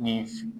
Ni